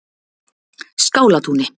Skálatúni